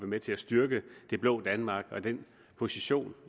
med til at styrke det blå danmark og den position